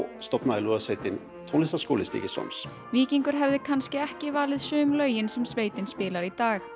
stofnaði lúðrasveitin Tónlistarskóla Stykkishólms víkingur hefði kannski ekki valið sum lögin sem sveitin spilar í dag